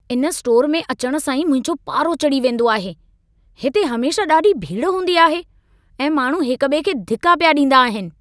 इन स्टोर में अचणु सां ई मुंहिंजो पारो चढ़ी वेंदो आहे। हिते हमेशह ॾाढी भीड़ हूंदी आहे ऐं माण्हू हिक ॿिए खे धिका पिया ॾींदा आहिनि।